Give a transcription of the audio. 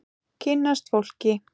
Kynnast fólki.